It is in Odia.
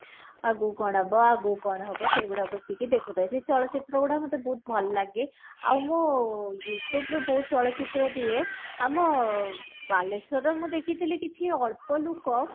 ଆଗକୁ କଣ ହବ ଆଗକୁ କଣ ହବ ସେଇ ଗୁଡା ବସିକି ଦେଖୁଥାଏ ସେଇ ଚଳଚିତ୍ର ଗୁଡା ମୋତେ ବହୁତ ଭଲ ଲାଗେ ଆଉ ମୁଁ you tube ରୁ ବହୁତ ଚଳଚିତ୍ର ଦିଏ ଆମ ବାଲେଶ୍ଵର ର ମୁଁ ଦେଖିଥିଲି କିଛି ଅଳ୍ପ ଲୁକ